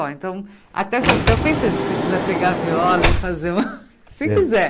então, até você eu pensei, se você quiser pegar a viola e fazer uma... Se quiser.